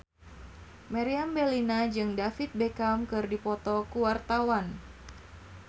Meriam Bellina jeung David Beckham keur dipoto ku wartawan